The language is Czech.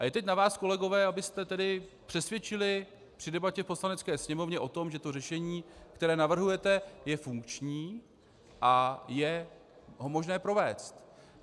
A je teď na vás kolegové, abyste tedy přesvědčili při debatě v Poslanecké sněmovně o tom, že to řešení, které navrhujete, je funkční a je ho možné provést.